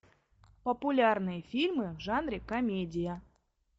популярные фильмы в жанре комедия